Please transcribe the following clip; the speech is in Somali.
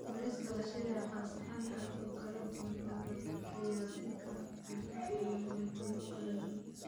Bariiska la shiilay waa saxan aad u kala duwan oo lagu diyaarin karo khudaar iyo borotiinno kala duwan.